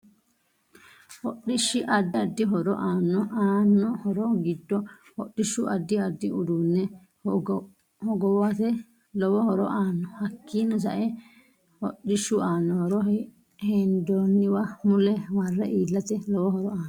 Hodhish addi ddi horo aano aano horo giddo hodhishu addi addi uduune hogoohate lowo horo aano hakiini saeno hodhishu aano horo hendooniwa mule marre iilate lowo horo aano